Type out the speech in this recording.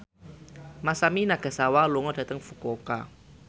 Masami Nagasawa lunga dhateng Fukuoka